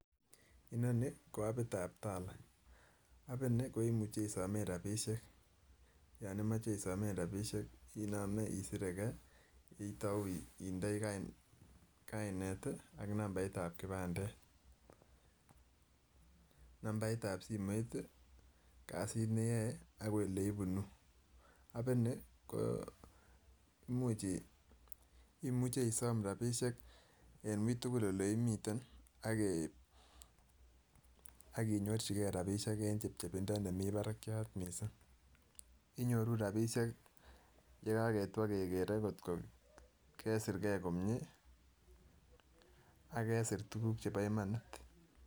Inoni ko apitab TALA apini ko imuche isomen, yon imoche isomen rapisiek inome isireke, itou indoi kainet ak nambaitab kipandet, nambaitab simoit, kasit neyoe ak oleibunu, apini koo imuche isom rapisiek en uitugul oleimiten akinyorchike rapisiek en chepchepindo nemi parakiat missing inyoru rapisiek yekaketwo kekere kotko kesir kee komie ak kesir tukuk chepo imanit.